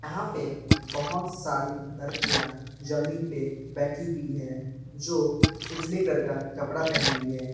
यहां पे बहोत सारी लड़कियां जमीन पे बैठी हुई है जो उजले कलर का कपड़ा पहनी हुई है।